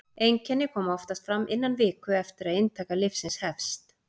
einkenni koma oftast fram innan viku eftir að inntaka lyfsins hefst